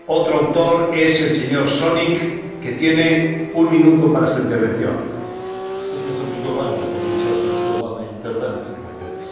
Jesteśmy zobligowani do podjęcia zdecydowanej interwencji wobec Ugandy i Nigerii i do potępienia tych państw za przyjęte w grudniu 2013